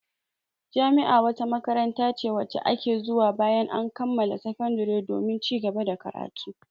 Jami'a wata makaranta ce wacce ake zuwa bayan an kammala sakandare domin cigaba da karatu.